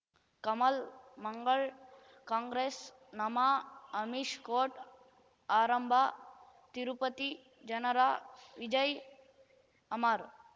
ಕಮಲ್ ಮಂಗಳ್ ಕಾಂಗ್ರೆಸ್ ನಮಃ ಅಮಿಷ್ ಕೋರ್ಟ್ ಆರಂಭ ತಿರುಪತಿ ಜನರ ವಿಜಯ್ ಅಮರ್